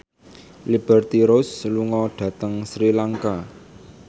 Liberty Ross lunga dhateng Sri Lanka